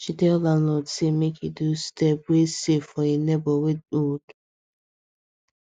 she tell landlord say make she do step wey safe for hin neighbor wey dey old